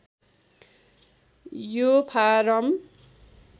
यो फारम